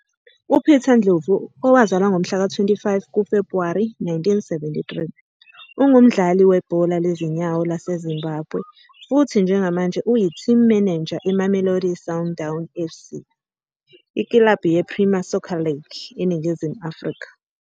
UPeter Ndlovu, owazalwa ngomhlaka 25 kuFebhuwari 1973, ungumdlali webhola lezinyawo laseZimbabwe futhi njengamanje uyiTeam Manager eMamelodi Sundowns FC ikilabhu yePremier Soccer League eNingizimu Afrika.